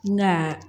N mi na